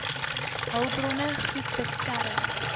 hulpbronne goed beskerm